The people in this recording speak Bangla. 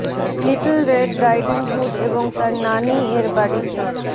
লিটল রেড রাইডিং হুড এবং তার নানী এর বাড়িতে